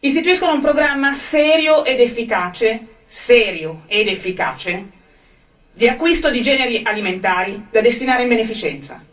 istituiscano un programma serio ed efficace serio ed efficace di acquisto di generi alimentari da destinare in beneficienza.